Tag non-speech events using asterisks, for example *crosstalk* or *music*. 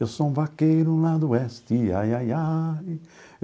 Eu sou um vaqueiro lá do oeste, ai, ai, ai. *sings*